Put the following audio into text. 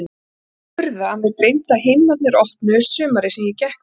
Ekki er furða að mig dreymdi að himnarnir opnuðust sumarið sem ég gekk með þig.